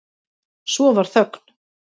Svo varð þögn.